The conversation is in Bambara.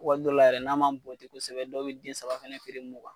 Waati dɔw la yɛrɛ n'a ma bonten kosɛbɛ dɔw bɛ den saba fɛnɛ feere mugan.